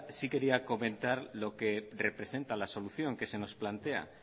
sí quería comentar lo que representa la solución que se nos plantea